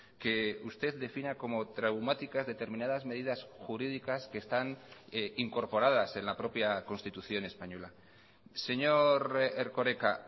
que usted defina como traumáticas determinadas medidas jurídicas que están incorporadas en la propia constitución española señor erkoreka